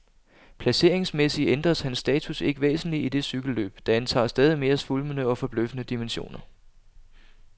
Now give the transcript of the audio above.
Placeringsmæssigt ændres hans status ikke væsentligt i det cykelløb, der antager stadig mere svulmende og forbløffende dimensioner.